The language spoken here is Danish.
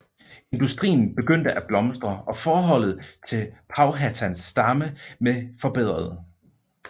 Industrien begyndte at blomstre og forholdet til Powhatans stamme med forbedret